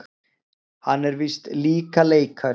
Hann er víst líka leikari.